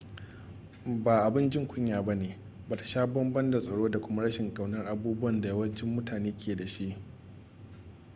ba abun jin kunya bane bata sha bambam da tsoro da kuma rashin kaunar abubuwan da yawancin mutane ke dashi